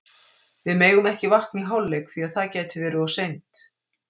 Við megum ekki vakna í hálfleik því að það gæti verið of seint.